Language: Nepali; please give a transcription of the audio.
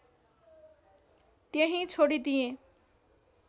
त्यहीँ छोडिदिएँ